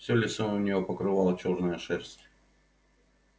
всё лицо у неё покрывала чёрная шерсть